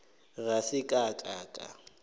ga se ka ka ka